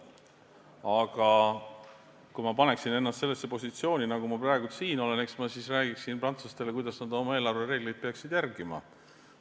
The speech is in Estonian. Aga kui ma paneksin ennast sellesse positsiooni, nagu ma praegu siin olen, siis eks ma räägiksin prantslastele, kuidas nad oma eelarvereegleid peaksid järgima.